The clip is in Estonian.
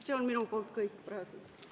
See on minu poolt praegu kõik.